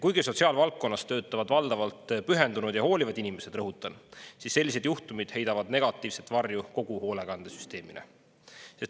Kuigi sotsiaalvaldkonnas töötavad valdavalt pühendunud ja hoolivad inimesed – rõhutan –, siis sellised juhtumid heidavad negatiivset varju kogu hoolekandesüsteemile.